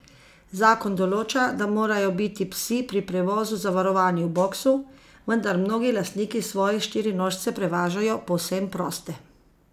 Zakon določa, da morajo biti psi pri prevozu zavarovani v boksu, vendar mnogi lastniki svoje štirinožce prevažajo povsem proste.